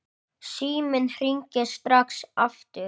Síminn hringir strax aftur.